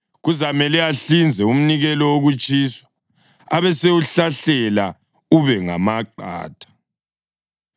Kuzamele ahlinze umnikelo wokutshiswa, abesewuhlahlela ube ngamaqatha.